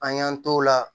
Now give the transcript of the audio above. An y'an t'o la